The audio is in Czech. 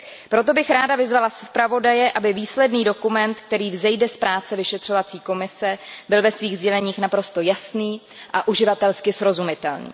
Proto bych ráda vyzvala zpravodaje, aby výsledný dokument, který vzejde z práce vyšetřovacího výboru, byl ve svých sděleních naprosto jasný a uživatelsky srozumitelný.